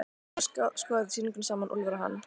Svo skoða þeir sýninguna saman, Úlfar og hann.